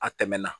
A tɛmɛna